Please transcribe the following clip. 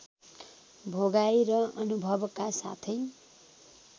भोगाइ र अनुभवका साथै